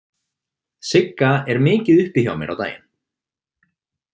Sigga er mikið uppi hjá mér á daginn.